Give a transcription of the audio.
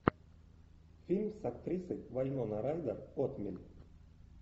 фильм с актрисой вайнона райдер отмель